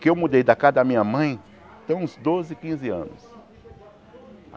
Que eu mudei da casa da minha mãe tem uns doze, quinze anos.